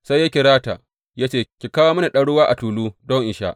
Sai ya kira ta, ya ce, Ki kawo mini ɗan ruwa a tulu don in sha.